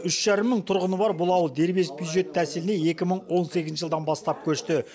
үш жарым мың тұрғыны бар бұл ауыл дербес бюджет тәсіліне екі мың он сегізінші жылдан бастап көшті